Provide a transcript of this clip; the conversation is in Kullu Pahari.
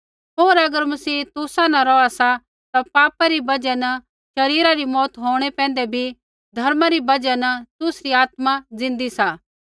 होर अगर मसीह तुसा न रौहा सा ता पापा री बजहा न शरीरा री मौऊत होंणै पैंधै बी धर्मा री बजहा न तुसरी आत्मा जिन्दी सा